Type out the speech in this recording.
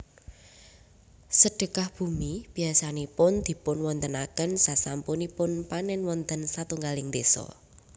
Sedhekah bumi biasanipun dipunwontenaken sasampunipun panèn wonten satunggaling désa